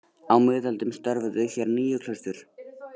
Á miðöldum störfuðu hér níu klaustur.